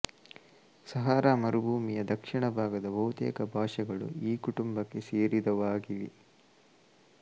ಸಹಾರ ಮರುಭೂಮಿಯ ದಕ್ಷಿಣ ಭಾಗದ ಬಹುತೇಕ ಭಾಷೆಗಳು ಈ ಕುಟುಂಬಕ್ಕೆ ಸೇರಿದವಾಗಿವೆ